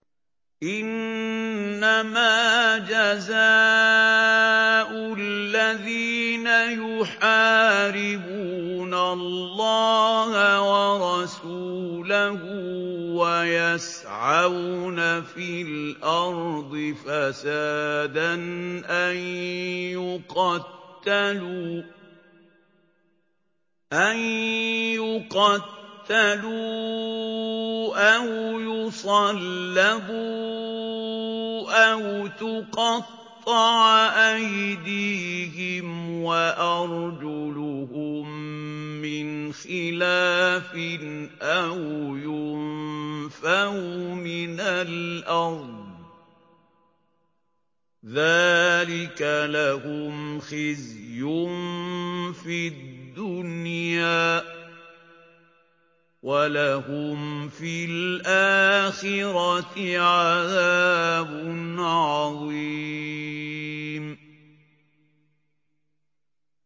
إِنَّمَا جَزَاءُ الَّذِينَ يُحَارِبُونَ اللَّهَ وَرَسُولَهُ وَيَسْعَوْنَ فِي الْأَرْضِ فَسَادًا أَن يُقَتَّلُوا أَوْ يُصَلَّبُوا أَوْ تُقَطَّعَ أَيْدِيهِمْ وَأَرْجُلُهُم مِّنْ خِلَافٍ أَوْ يُنفَوْا مِنَ الْأَرْضِ ۚ ذَٰلِكَ لَهُمْ خِزْيٌ فِي الدُّنْيَا ۖ وَلَهُمْ فِي الْآخِرَةِ عَذَابٌ عَظِيمٌ